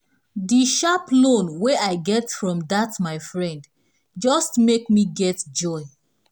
di sharp loan wey i get from dat my friend just make me get joy